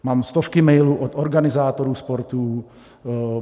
Mám stovky mailů od organizátorů sportů.